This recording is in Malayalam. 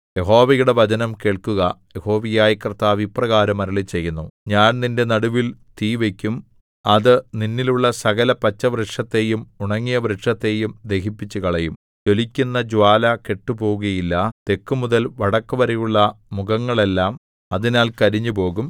യഹോവയുടെ വചനം കേൾക്കുക യഹോവയായ കർത്താവ് ഇപ്രകാരം അരുളിച്ചെയ്യുന്നു ഞാൻ നിന്റെ നടുവിൽ തീ വയ്ക്കും അത് നിന്നിൽ ഉള്ള സകല പച്ചവൃക്ഷത്തെയും ഉണങ്ങിയവൃക്ഷത്തെയും ദഹിപ്പിച്ചുകളയും ജ്വലിക്കുന്ന ജ്വാല കെട്ടുപോകുകയില്ല തെക്കുമുതൽ വടക്കുവരെയുള്ള മുഖങ്ങളെല്ലാം അതിനാൽ കരിഞ്ഞുപോകും